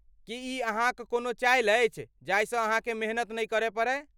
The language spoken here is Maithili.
की ई अहाँक कोनो चालि अछि जाहिसँ अहाँकेँ मेहनत नहि करय पड़य?